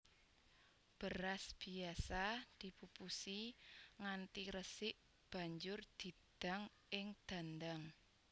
Beras biasa dipupusi nganti resik banjur didang ing dandang